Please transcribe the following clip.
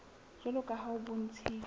jwalo ka ha ho bontshitswe